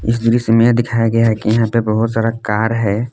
इस दृश्य में यह दिखाया गया है कि यहां पे बहुत सारा कार है।